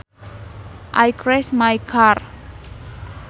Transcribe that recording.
I crashed my car